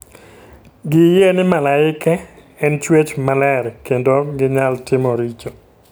Giyie ni malaike en chwech maler kendo ok ginyal timo richo.